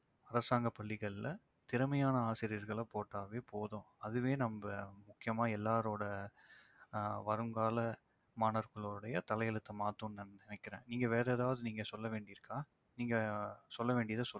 அரசாங்கப் பள்ளிகள்ல திறமையான ஆசிரியர்களை போட்டாவே போதும். அதுவே நம்ம முக்கியமா எல்லாரோட ஆஹ் வருங்கால மாணவர்களுடைய தலையெழுத்தை மாற்றும் நான் நினைக்கிறேன். நீங்க வேற ஏதாவது நீங்க சொல்ல வேண்டியது இருக்கா? நீங்க சொல்ல வேண்டியத சொல்லுங்க